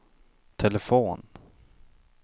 telefon